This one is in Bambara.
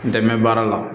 N dɛmɛbaa la